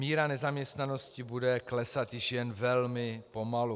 Míra nezaměstnanosti bude klesat již jen velmi pomalu.